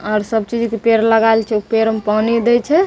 और सब चीज़ के पेड़ लगायल छै उ पेड़ में पानी देय छै ।